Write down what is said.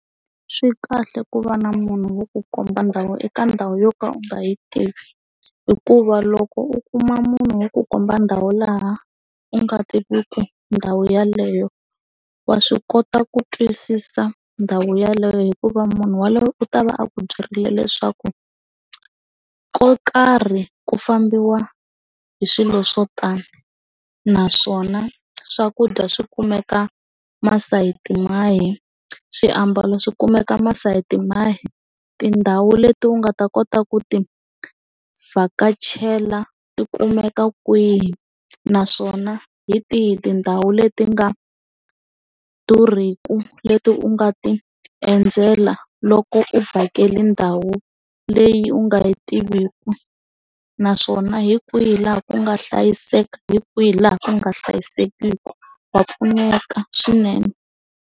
Swi kahle ku va na munhu wo ku komba ndhawu eka ndhawu yo ka u nga yi tivi hikuva loko u kuma munhu wo ku komba ndhawu laha u nga tiviki ndhawu yeleyo wa swi kota ku twisisa ndhawu yeleyo hikuva munhu yaloye u ta va a ku byerile leswaku ko karhi ku fambiwa hi swilo swo tala naswona swakudya swi kumeka masayiti mahi swiambalo swi kumeka masayiti mahi tindhawu leti u nga ta kota ku ti vhakachela ti kumeka kwihi naswona hi tihi tindhawu leti nga durhiki leti u nga ti endzela loko u vhakela ndhawu leyi u nga yi tiviki naswona hi kwihi laha ku nga hlayiseka hi kwihi laha ku nga hlayisekangiki wa pfuneka swinene.